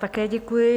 Také děkuji.